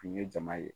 Kun ye jama ye